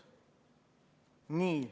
Nii.